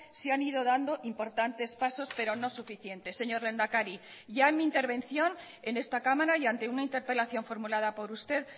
se han ido dando importantes pasos pero no suficientes señor lehendakari ya en mi intervención en esta cámara y ante una interpelación formulada por usted